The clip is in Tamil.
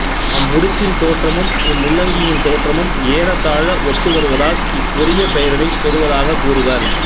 அம்முடிச்சின் தோற்றமும் இம்முள்ளங்கியின் தோற்றமும் ஏறத்தாழ ஒத்து வருவதால் இக்கொரிய பெயரினைப் பெறுவதாகக் கூறுவர்